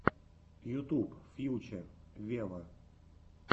ютуб фьюче вево